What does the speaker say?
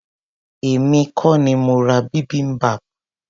Èmi kọ́ ni mo ra bibimbap.